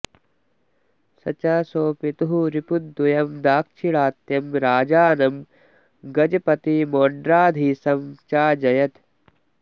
स च स्वपितुः रिपुद्वयं दाक्षिणात्यं राजानं गजपतिमोड्राधीशं चाजयत्